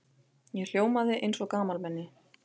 Ég hljómaði eins og gamalmenni.